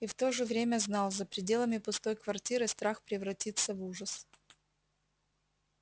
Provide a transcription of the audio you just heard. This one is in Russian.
и в то же время знал за пределами пустой квартиры страх превратится в ужас